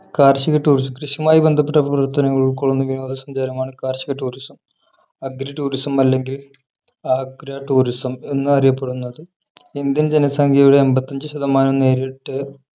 കാർഷിക tourism കൃഷിയുമായി ബന്ധപ്പെട്ട പ്രവർത്തനങ്ങൾ ഉൾക്കൊള്ളുന്ന വിനോദസഞ്ചാരമാണ് കാർഷിക tourismagritourism അല്ലെങ്കിൽ agratourism എന്ന് അറിയപ്പെടുന്നത് ഇന്ത്യൻ ജനസംഖ്യയുടെ അമ്പത്തിഅഞ്ച് ശതമാനവും നേരിട്ട്